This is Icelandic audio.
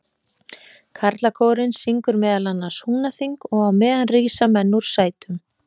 Karlakórinn syngur meðal annars Húnaþing, og á meðan rísa menn úr sætum.